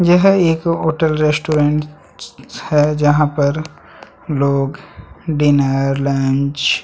यह एक hotel restaurant है जहाँ पर लोग डिनर लंच --